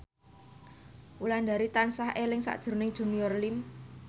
Wulandari tansah eling sakjroning Junior Liem